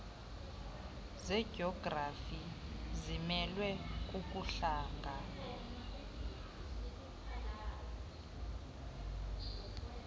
zejografi zimelwe kukuhlangana